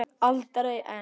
Aldrei ein